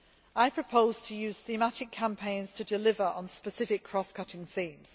whole. I propose to use thematic campaigns to deliver on specific cross cutting themes.